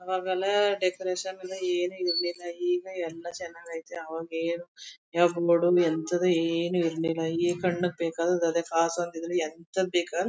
ಆವಾಗೆಲ್ಲ ಡೆಕೋರೇಷನ್ ಇಲ್ಲ ಏನು ಇರ್ಲಿಲ್ಲ ಈಗ ಎಲ್ಲಾ ಚೆನ್ನಾಗೈತೆ ಅವಾಗೇನು ಈವಾಗ್ ನೋಡು ಎಂಥದು ಏನು ಇರ್ಲಿಲ್ಲ ಈಗ ಕಣ್ಣಿಗ್ ಬೇಕಾದದ್ಅದೇ ಕಾಸ್ ಒಂದಿದ್ರೆ ಎಂಥದ್ ಬೇಕಾದ್ರು